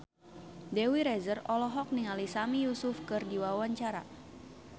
Dewi Rezer olohok ningali Sami Yusuf keur diwawancara